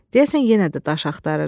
Deyəsən yenə də daş axtarırdı.